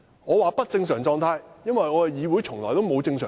我說"不正常狀態"，因為立法會從未正常過。